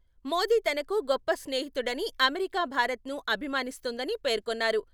మోదీ తనకు గొప్ప స్నేహితుడని అమెరికా భారత్‌ను అభిమానిస్తుందని పేర్కొన్నారు.